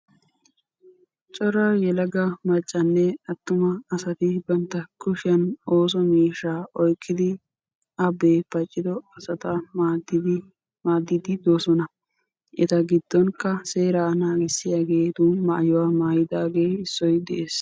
Coraa yelaga macanne atumma asatti meetottidda asatta maadiddi d'eosonn. Etta matankka seera naagissiya xaace de'ees.